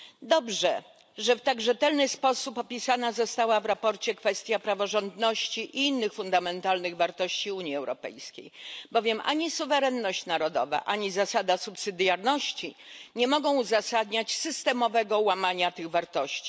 Dobrze, że w tak rzetelny sposób opisana została w sprawozdaniu kwestia praworządności i innych fundamentalnych wartości Unii Europejskiej, bowiem ani suwerenność narodowa, ani zasada subsydiarności nie mogą uzasadniać systemowego łamania tych wartości.